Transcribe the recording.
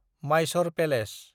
Mysore palace